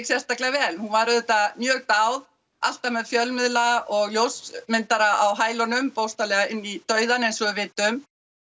sérstaklega vel hún var auðvitað mjög dáð alltaf með fjölmiðla og ljósmyndara á hælunum bókstaflega inn í dauðann eins og við vitum